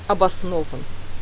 обоснован